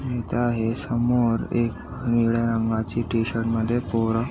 इथ हे समोर निळ्या रंगाच्या टी-शर्ट मध्ये पोर--